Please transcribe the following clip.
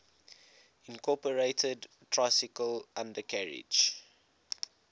incorporated tricycle undercarriage